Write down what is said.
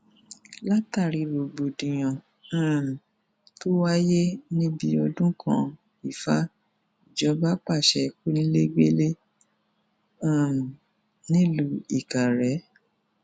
látàrí rògbòdìyàn um tó wáyé níbi ọdún kanifa ìjọba pàṣẹ kọńilẹgbẹlẹ um nílùú ìkàrẹ